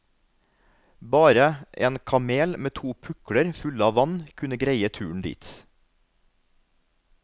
Bare en kamel med to pukler fulle av vann kunne greie turen dit.